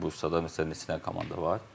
Bursada məsələn neçə dənə komanda var?